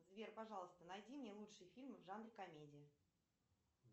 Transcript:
сбер пожалуйста найди мне лучшие фильмы в жанре комедия